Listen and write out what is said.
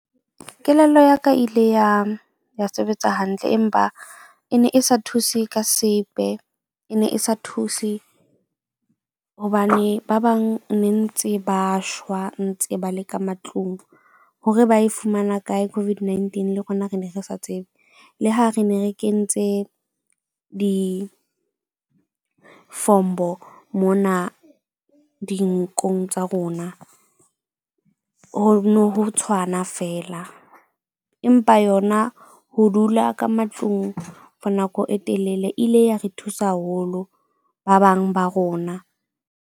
Kelello ya ka ile ya ya sebetsa hantle. Empa e ne e sa thuse ka sepe, e ne e sa thuse hobane ba bang ne ntse ba shwa ntse ba le ka matlung. Hore ba e fumana kae COVID-19 le rona re ne re sa tsebe. Le ha re ne re kentse difombo mona dinkong tsa rona. Ho no ho tshwana feela, empa yona ho dula ka matlung for nako e telele ile ya re thusa haholo, ba bang ba rona.